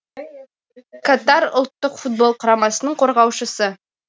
катар ұлттық футбол құрамасының қорғаушысы